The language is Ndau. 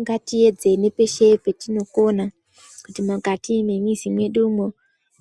Ngatiedze ngepeshe petinokona kuti mukati memizi mwedumo